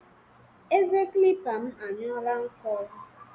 Eze kilipa m anyụọọla nkọ.